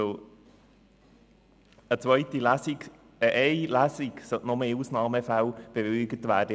Eine einzige Lesung sollte nur in Ausnahmefällen bewilligt werden.